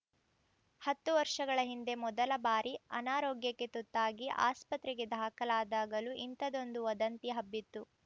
ಹತ್ತು ವರ್ಷಗಳ ಹಿಂದೆ ಮೊದಲ ಬಾರಿ ಅನಾರೋಗ್ಯಕ್ಕೆ ತುತ್ತಾಗಿ ಆಸ್ಪತ್ರೆಗೆ ದಾಖಲಾದಾಗಲೂ ಇಂಥದ್ದೊಂದು ವದಂತಿ ಹಬ್ಬಿತ್ತು